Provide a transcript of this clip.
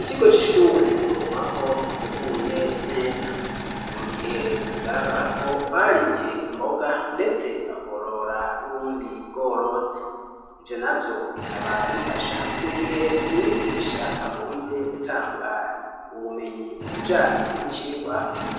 Ikigo c'ishure twovuga ko giteguye neza. Ni mu gihe bigaragara ko barimye imboga ndetse bakorora n'ubundi bworozi. Ivyo navyo bikaba bifasha mu gihe umwigisha agomvye gutanga ubumenyi ku bijanye n'icigwa